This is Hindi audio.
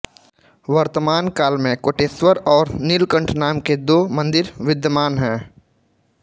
वर्तमानकाल में कोटेश्वर और निलकंठ नाम के दो मन्दिर विद्यमान हैं